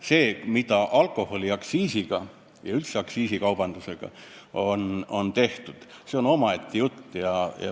See, mida alkoholiaktsiisiga ja üldse aktsiisindusega on tehtud, on omaette jutt.